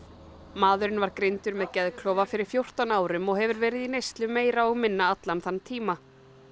maðurinn var greindur með geðklofa fyrir fjórtán árum og hefur verið í neyslu meira og minna allan þann tíma